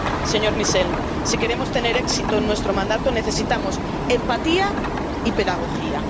Señor Michel, si queremos tener éxito en nuestro mandato, necesitamos empatía y pedagogía.